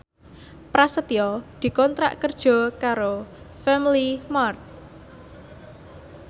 Prasetyo dikontrak kerja karo Family Mart